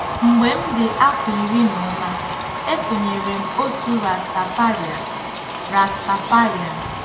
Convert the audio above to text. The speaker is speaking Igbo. Mgbe m dị afọ iri na ụma, esonyere m òtù Rastafarian. Rastafarian.